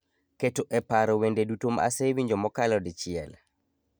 keto e paro wende duto ma asewinjo mokalo dichiel